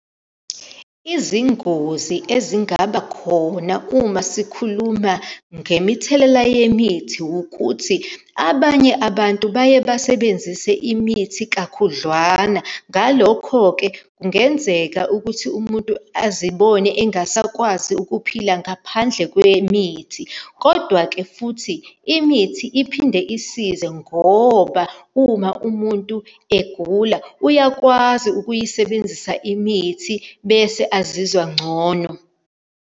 Izingozi ezingaba khona uma sikhuluma ngemithelela yemithi, wukuthi abanye abantu baye basebenzise imithi kakhudlwana. Ngalokho-ke kungenzeka ukuthi umuntu azibone engasakwazi ukuphila ngaphandle kwemithi. Kodwa-ke futhi imithi iphinde isize, ngoba uma umuntu egula uyakwazi ukuyisebenzisa imithi bese azizwa ngcono.